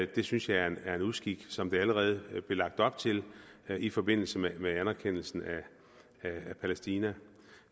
det synes jeg er en uskik som det allerede blev lagt op til i forbindelse med anerkendelsen af palæstina